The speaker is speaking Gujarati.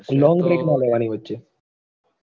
long break નઈ લેવાની વચ્ચે